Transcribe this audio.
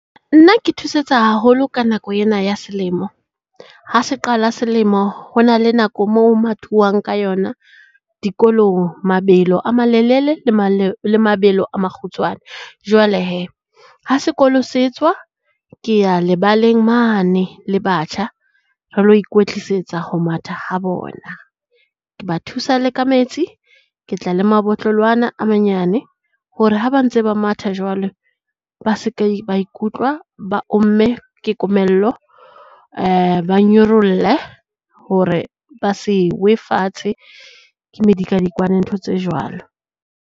Nna ke thusetsa haholo ka nako ena ya selemo. Ha se qala selemo ho na le nako mo ho mathuwang ka yona, dikolong, mabelo a malelele, le mabelo a makgutshwane. Jwale hee ha sekolo se tswa ke ya lebaleng mane le batjha, re lo ikwetlisetsa ho matha ha bona. Ke ba thusa le ka metsi. Ke tla le mabotlolo ana a manyane hore ha ba ntse ba matha jwalo, ba seke ba ikutlwa ba omme ke komello. Ba nyorolle hore ba se we fatshe ke medikadikwane ntho tse jwalo.